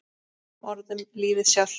Með öðrum orðum lífið sjálft.